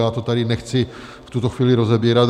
Já to tady nechci v tuto chvíli rozebírat.